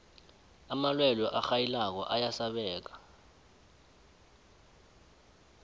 amalwelwe arhayilako ayasabeka